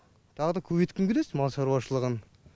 тағы да көбейткім келеді мал шаруашылығын